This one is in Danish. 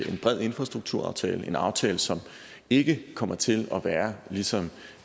en bred infrastrukturaftale en aftale som ikke kommer til at være ligesom